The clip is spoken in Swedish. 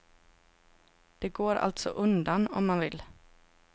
Det går alltså undan, om man vill.